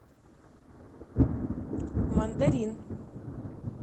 мандарин